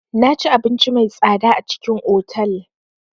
Naci abinci mai tsada a cikin otal.